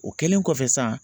O kɛlen kɔfɛ sisan